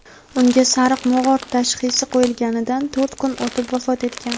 unga "sariq mog‘or" tashxisi qo‘yilganidan to‘rt kun o‘tib vafot etgan.